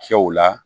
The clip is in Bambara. Cɛw la